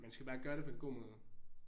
Man skal jo bare gøre det på en god måde